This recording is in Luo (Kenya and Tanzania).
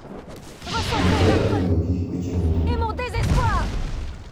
Kendo ka ipuonjogi weche modhuro.